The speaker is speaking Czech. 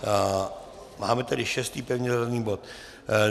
Máme tedy šestý pevně zařazený bod.